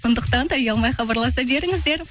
сондықтан да ұялмай хабарласа беріңіздер